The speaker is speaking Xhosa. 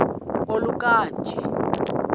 oluka ka njl